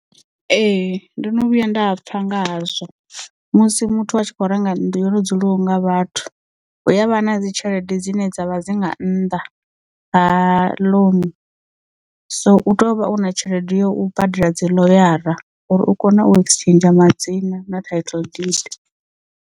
Ee ndono vhuya nda pfha ngahazwo musi muthu a tshi khou renga nnḓu yo no dzuliwaho nga vhathu huyavha na dzi tshelede dzine dzavha dzi nga nnḓa ha loan so u tea u vha u na tshelede yo u badela dzi ḽoyara uri u kone u exchange madzina na title deeds.